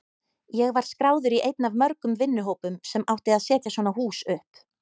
Ég var skráður í einn af mörgum vinnuhópum sem átti að setja svona hús upp.